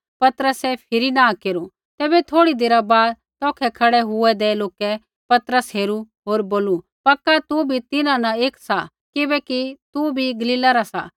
पतरसै फिरी नाँह केरू तैबै थोड़ी देरा बाद तौखै खड़ै हुऐदै लोकै पतरस हेरू होर बोलू पक्का तू बी तिन्हां न एक सा किबैकि तू बी गलीला रा सा